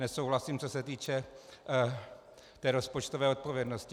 Nesouhlasím, co se týče té rozpočtové odpovědnosti.